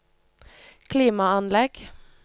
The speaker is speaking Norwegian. klimaanlegg